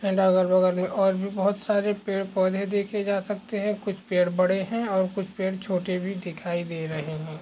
And बगल मे और भी बहुत सारे पेड़ पौधे देखे जा सकते है कुछ पेड़ बड़े है और कुछ पेड़ छोटे भी दिखाई दे रहे है।